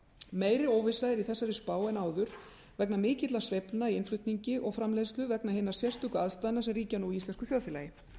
meiri óvissa er í þessari spá en áður vegna mikilla sveiflna í innflutningi og framleiðslu vegna hinna sérstöku aðstæðna sem ríkja nú í íslensku þjóðfélagi